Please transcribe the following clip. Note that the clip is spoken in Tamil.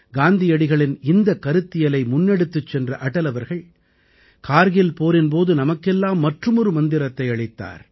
காந்தியடிகளின் இந்தக் கருத்தியலை முன்னெடுத்துச் சென்ற அடல் அவர்கள் கார்கில் போரின் போது நமக்கெல்லாம் மற்றுமொரு மந்திரத்தை அளித்தார்